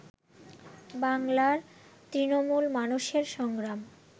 বাংলার তৃণমূল মানুষের সংগ্রাম